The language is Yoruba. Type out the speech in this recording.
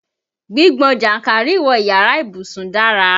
Gbígbọn jànkárìwọ̀ iyàrá ìbùsùn dara.